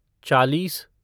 चालीस